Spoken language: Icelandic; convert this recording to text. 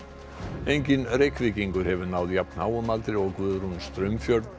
enginn Reykvíkingur hefur náð jafn háum aldri og Guðrún Straumfjörð